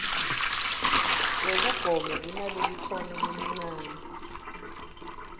wekugoma kunalelikhono lelincane